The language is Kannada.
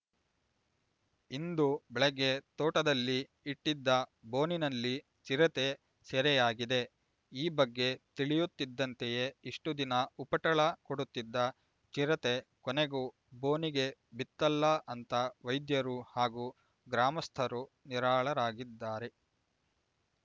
ಇಂದು ಬೆಳಗ್ಗೆ ತೋಟದಲ್ಲಿ ಇಟ್ಟಿದ್ದ ಬೋನಿನಲ್ಲಿ ಚಿರತೆ ಸೆರೆಯಾಗಿದೆ ಈ ಬಗ್ಗೆ ತಿಳಿಯುತ್ತಿದ್ದಂತೆಯೇ ಇಷ್ಟುದಿನ ಉಪಟಳ ಕೊಡುತ್ತಿದ್ದ ಚಿರತೆ ಕೊನೆಗೂ ಬೋನಿಗೆ ಬಿತ್ತಲ್ಲ ಅಂತ ವೈದ್ಯರು ಹಾಗೂ ಗ್ರಾಮಸ್ಥರು ನಿರಾಳರಾಗಿದ್ದಾರೆ